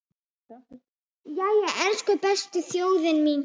Jæja, elsku besta þjóðin mín!